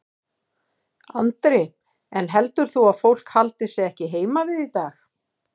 Andri: En heldur þú að fólk haldi sig ekki heima við í dag?